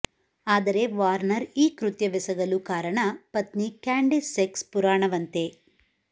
ಆದರೆ ವಾರ್ನರ್ ಈ ಕೃತ್ಯವೆಸಗಲು ಕಾರಣ ಪತ್ನಿ ಕ್ಯಾಂಡಿಸ್ ಸೆಕ್ಸ್ ಪುರಾಣವಂತೆ